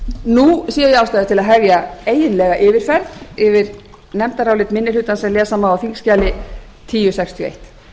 nú sé ég ástæða til að hefja eiginlega yfirferð yfir nefndarálit minni hlutans sem lesa má á þingskjali þúsund sextíu og eitt